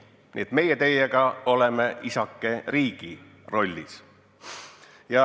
Nii et meie teiega oleme isakese riigi rollis.